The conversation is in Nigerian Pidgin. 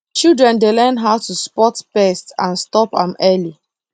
children dey learn how to spot pest and stop am early